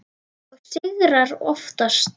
Og sigrar oftast.